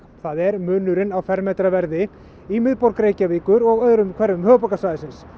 það er munurinn á fermetraverði í miðborg Reykjavíkur og öðrum hverfum höfuðborgarsvæðisins